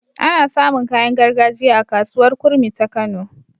Ana samun kayan gargajiya a kasuwar kurmi ta kano